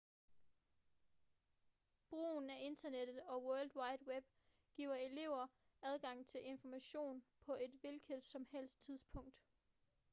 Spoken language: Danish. brugen af internettet og world wide web giver elever adgang til information på et hvilket som helst tidspunkt